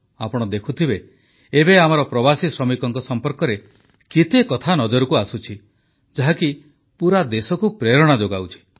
ଆପଣ ଦେଖୁଥିବେ ଏବେ ଆମର ପ୍ରବାସୀ ଶ୍ରମିକଙ୍କ ସମ୍ପର୍କରେ କେତେ କଥା ନଜରକୁ ଆସୁଛି ଯାହାକି ପୁରା ଦେଶକୁ ପ୍ରେରଣା ଯୋଗାଉଛି